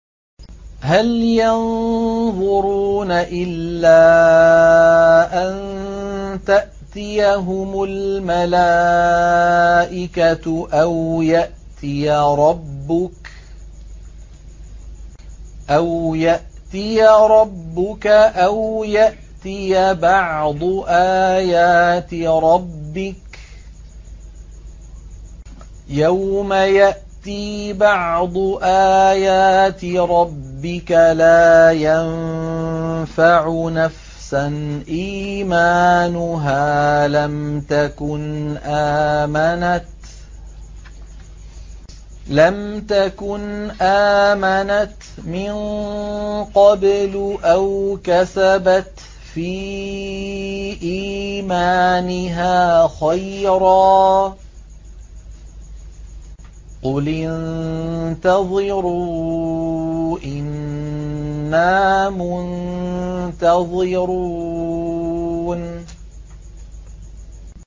هَلْ يَنظُرُونَ إِلَّا أَن تَأْتِيَهُمُ الْمَلَائِكَةُ أَوْ يَأْتِيَ رَبُّكَ أَوْ يَأْتِيَ بَعْضُ آيَاتِ رَبِّكَ ۗ يَوْمَ يَأْتِي بَعْضُ آيَاتِ رَبِّكَ لَا يَنفَعُ نَفْسًا إِيمَانُهَا لَمْ تَكُنْ آمَنَتْ مِن قَبْلُ أَوْ كَسَبَتْ فِي إِيمَانِهَا خَيْرًا ۗ قُلِ انتَظِرُوا إِنَّا مُنتَظِرُونَ